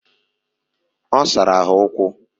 Osara ha ukwu.